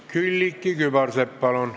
Külliki Kübarsepp, palun!